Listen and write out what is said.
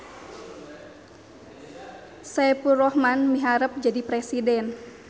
Saepulrohman miharep jadi presiden